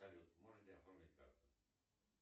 салют можете оформить карту